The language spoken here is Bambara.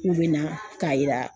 K'u bɛna k'a yira